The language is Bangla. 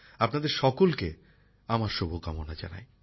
আপনাদের সকলকে আমার শুভকামনা জানাই